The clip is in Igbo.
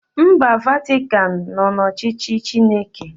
Mba Vatikan nọ n'ọchịchị Chineke